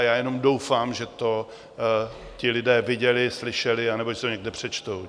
A já jenom doufám, že to ti lidé viděli, slyšeli nebo že si to někde přečtou.